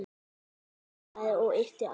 Nikki hikaði og yppti öxlum.